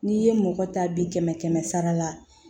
N'i ye mɔgɔ ta bi kɛmɛ sara la